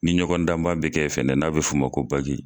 Ni ɲɔgɔn dan ba bɛ kɛ ye fɛnɛ n'a bɛ f'o ma ko bagi.